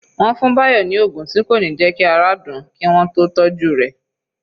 Wọ́n fún Bayo ni oògùn tí kò ní jẹ́ kí ara dùn ún kí wọ́n tó tọ́jú rẹ̀